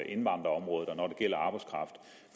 indvandrerområdet og når